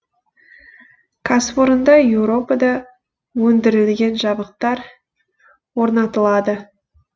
кәсіпорында еуропада өндірілген жабдықтар орнатылады